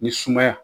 Ni sumaya